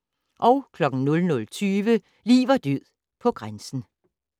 00:20: Liv og død på grænsen